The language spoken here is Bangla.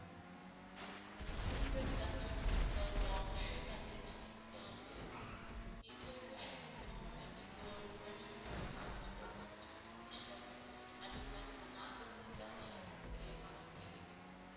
তুমি যদি কাজটা করতে চাও তো অবশ্যই তাদের জানিয়ে দিতে হবে, নির্ধারিত সময়ের ভিতর প্রয়োজনীয় কাগজ পত্র জমা দিয়ে আসতে হবে, আর যদি কাজটা না করতে চাও সেক্ষেত্রে মানা করে দেবে।